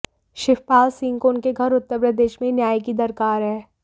शिवपाल सिंह को उनके घर उत्तर प्रदेश में ही न्याय की दरकार है